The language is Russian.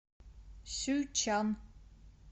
сюйчан